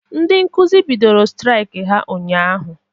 Ndị Nkụzi bidoro straik ha ụnyaahụ